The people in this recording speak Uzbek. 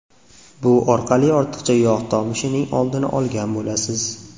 Bu orqali ortiqcha yog‘ tomishining oldini olgan bo‘lasiz.